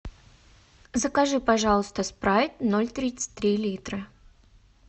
закажи пожалуйста спрайт ноль тридцать три литра